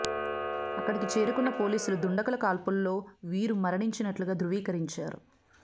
అక్కడికి చేరుకున్న పోలీసులు దుండగుల కాల్పుల్లో వీరు మరణించినట్లుగా ధ్రువీకరించారు